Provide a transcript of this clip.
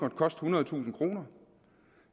ethundredetusind kroner